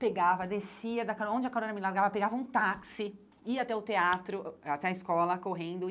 Pegava, descia da caro, onde a carona me largava, pegava um táxi, ia até o teatro, até a escola, correndo.